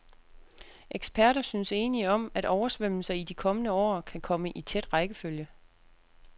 Eksperter synes enige om, at oversvømmelser i de kommende år kan komme i tæt rækkefølge.